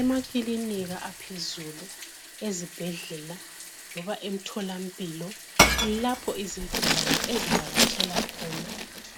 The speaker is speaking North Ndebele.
Emakilinika aphezulu, ezibhedlela, loba emtholampilo kulapho izigulane ezivakatshela khona,